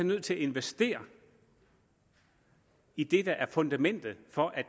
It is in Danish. nødt til at investere i det der er fundamentet for at